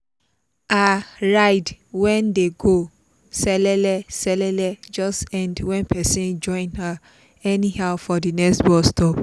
her ride when dey go selele selele just end when person join her anyhow for the next bus stop.